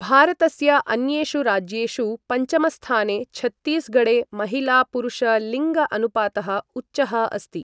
भारतस्य अन्येषु राज्येषु पञ्चमस्थाने छत्तीसगढे महिला पुरुष लिंग अनुपातः उच्चः अस्ति ।